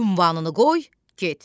Ünvanını qoy, get.